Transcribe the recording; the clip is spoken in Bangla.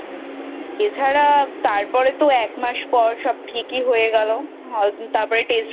এছাড়া তারপর তো এক মাস পর সব ঠিকই হয়ে গেলো তারপর